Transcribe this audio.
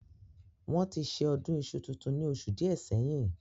Wọ́n ti ṣe Ọdún iṣu tuntun ní oṣù díẹ̀ sẹ́yìn